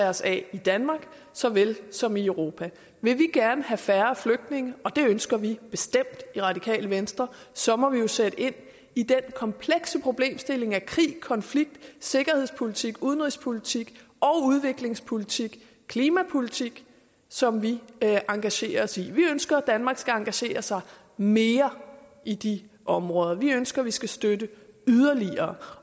os af i danmark såvel som i europa vil vi gerne have færre flygtninge og det ønsker vi bestemt i radikale venstre så må vi sætte ind i den komplekse problemstilling af krig konflikt sikkerhedspolitik udenrigspolitik udviklingspolitik og klimapolitik som vi engagerer os i vi ønsker at danmark skal engagere sig mere i de områder vi ønsker at vi skal støtte yderligere